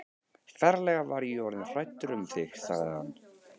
Ferlega var ég orðinn hræddur um þig sagði hann.